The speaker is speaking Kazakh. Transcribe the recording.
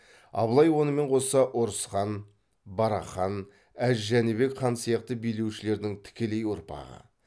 абылай онымен қоса ұрыс хан барақ хан әз жәнібек хан сияқты билеушілердің тікелей ұрпағы